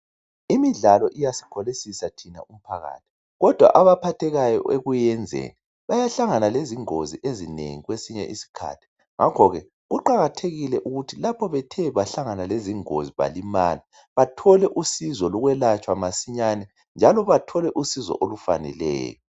Imidlalo iyasikholisisa thina umphakathi kodwa abaphathekayo ekuyenzeni bayahlangana lezingozi ezinengi kwesinye isikhathi ngakhoke kuqakathekile ukuthi lapho bethe bahlangana lezingozi balimala bathole usizo lokwelatshwa masinyane njalo bathole usizo olufaneleyo.